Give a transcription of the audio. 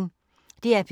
DR P1